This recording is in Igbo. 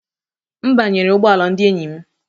M banyere ụgbọ ala ndị enyi m.